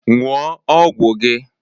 Ṅụọ ọgwụ gị!